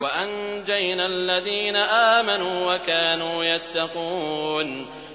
وَأَنجَيْنَا الَّذِينَ آمَنُوا وَكَانُوا يَتَّقُونَ